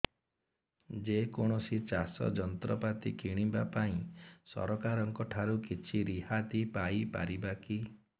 ଯେ କୌଣସି ଚାଷ ଯନ୍ତ୍ରପାତି କିଣିବା ପାଇଁ ସରକାରଙ୍କ ଠାରୁ କିଛି ରିହାତି ପାଇ ପାରିବା କି